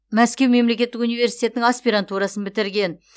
мәскеу мемлекеттік университетіннің аспирантурасын бітірген